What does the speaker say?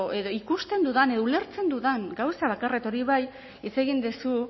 edo ikusten dudan edo ulertzen dudan gauza bakarra eta hori bai hitz egin duzu